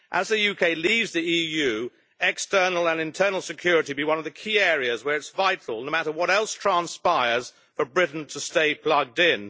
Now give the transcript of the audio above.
As the UK leaves the EU, external and internal security will be one of the key areas where it is vital, no matter what else transpires for Britain, to stay plugged in.